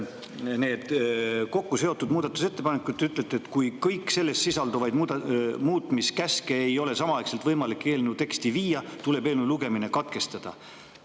Need kokku seotud muudatusettepanekud – te ütlete, et kui kõiki nendes sisalduvaid muutmiskäske ei ole samaaegselt võimalik eelnõu teksti viia, tuleb eelnõu lugemine katkestada.